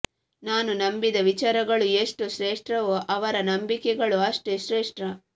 ನಾನು ನಂಬಿದ ವಿಚಾರಗಳು ಎಷ್ಟು ಶ್ರೇಷ್ಠವೋ ಅವರ ನಂಬಿಕೆಗಳೂ ಅಷ್ಟೇ ಶ್ರೇಷ್ಠ